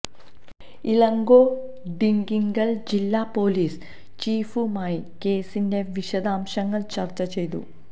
ഇളങ്കോ ഡിണ്ടിഗൽ ജില്ലാ പൊലീസ് ചീഫുമായി കേസിന്റെ വിശദാംശങ്ങൾ ചർച്ച ചെയ്തു